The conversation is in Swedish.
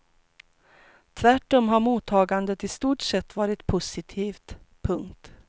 Tvärtom har mottagandet i stort sett varit positivt. punkt